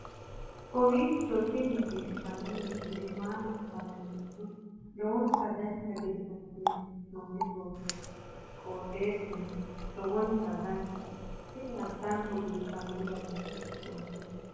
kowiicho tini biiffanno misile maa labbanno yiniro lowonta dancha gede assine haa'noonni foototi qoxeessuno lowonta danachaho. tini addanko biiffanno garinni haa'noonnite